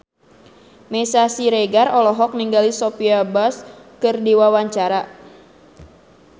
Meisya Siregar olohok ningali Sophia Bush keur diwawancara